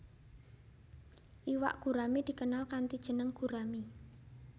Iwak gurami dikenal kanthi jeneng gurami